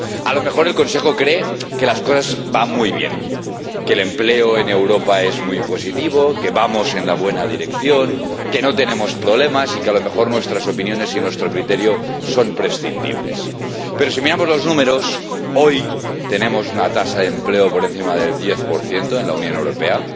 A lo mejor el Consejo cree que las cosas van muy bien, que el empleo en Europa es muy positivo, que vamos en la buena dirección, que no tenemos problemas y que a lo mejor nuestras opiniones y nuestro criterio son prescindibles. Pero, si miramos los números, hoy tenemos una tasa de desempleo por encima del 10 en la Unión Europea.